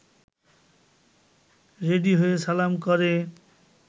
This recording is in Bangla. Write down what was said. রেডি হয়ে সালাম করে